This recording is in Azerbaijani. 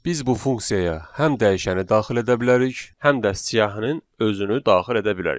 Biz bu funksiyaya həm dəyişəni daxil edə bilərik, həm də siyahının özünü daxil edə bilərik.